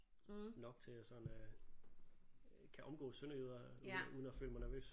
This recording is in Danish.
Nok til at jeg sådan øh kan omgås sønderjyder uden at uden at føle mig nervøs